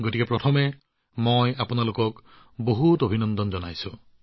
গতিকে প্ৰথমে আপোনাক বহুত বহুত অভিনন্দন জনাইছো